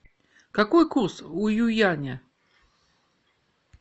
какой курс у юаня